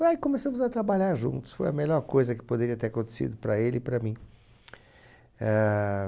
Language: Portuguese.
Aí começamos a trabalhar juntos, foi a melhor coisa que poderia ter acontecido para ele e para mim. Éh...